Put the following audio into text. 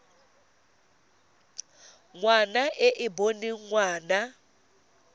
ngwana e e boneng ngwana